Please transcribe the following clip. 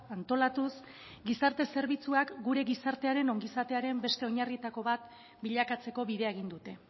antolatuz gizarte zerbitzuak gure gizartearen ongizatearen beste oinarrietako bat bilakatzeko bidea egin dute